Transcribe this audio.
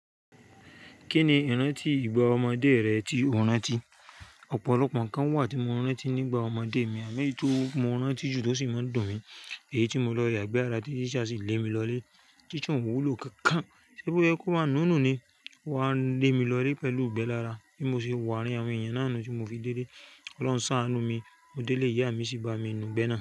Kí ni ìrántí ìgbà ọmọdé rẹ tí o rántí? Ọ̀pọ̀lọpọ̀ nǹkan wà tí mo rántí nígbà ọmọdé mi àmọ́ èyí tí mo rántí jù tó sì máa ń dùn mi, èyí tí mo lọ yàgbẹ́ ara tí tíṣáà sì lé mi lọlé. Teacher un ò wúlò kankan ṣébo yẹ kó bán nù nù ni. O wá n lé mi lọlé pẹ̀lú ìgbẹ́ lára bí mo ṣe wo aarin àwọn èèyàn náà nu tí mo fi délé. Kọ́lóuń ṣàánú mi. Mo délé ìyá mi sì bá mi nu'gbẹ́ ẹ̀ náà.